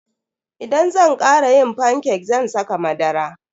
Idan zan kara yin fanke zan saka madara.